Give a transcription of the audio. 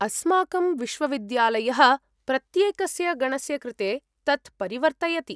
अस्माकं विश्वविद्यालयः प्रत्येकस्य गणस्य कृते तत् परिवर्तयति।